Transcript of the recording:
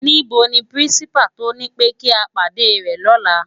NIbó ni pirinsipá to nipé ki á pádé rè lòlá?